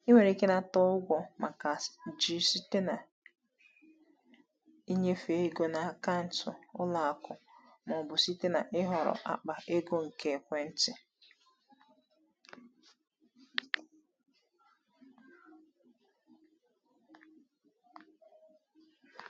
Ị nwere ike ịnata ụgwọ maka ji site na ịnyefe ego na akaụntụ ụlọ akụ ma ọ bụ site na ihọrọ akpa ego nke ekwentị.